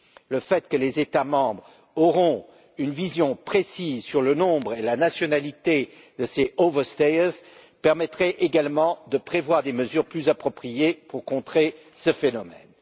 Le fait que les États membres auront une vision précise du nombre et de la nationalité de ces personnes permettrait également de prévoir des mesures plus appropriées pour contrer ce phénomène.